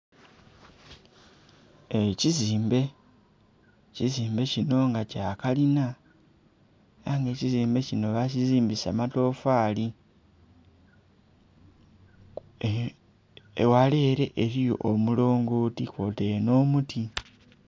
Ekizimbe, ekizimbe kino nga kyakalina era nga ekizimbe kino bakizimbisa matofali eghala ere ghaliyo omulongoti kwotaire n'omuti.